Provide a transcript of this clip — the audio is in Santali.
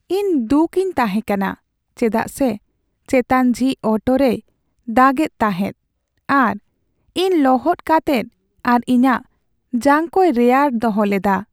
ᱤᱧ ᱫᱩᱠ ᱤᱧ ᱛᱟᱦᱮᱸ ᱠᱟᱱᱟ ᱪᱮᱫᱟᱜ ᱥᱮ ᱪᱮᱛᱟᱱ ᱡᱷᱤᱡ ᱚᱴᱳ ᱨᱮᱭ ᱫᱟᱜ ᱮᱫ ᱛᱟᱦᱮᱸᱜ ᱟᱨ ᱤᱧ ᱞᱚᱦᱚᱫ ᱠᱟᱛᱮᱜ ᱟᱨ ᱤᱧᱟᱜ ᱡᱟᱝ ᱠᱚᱭ ᱨᱮᱭᱟᱲ ᱫᱚᱦᱚ ᱞᱮᱫᱟ ᱾